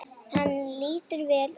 Hann lítur vel út.